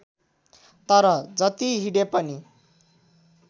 तर जति हिँडेपनि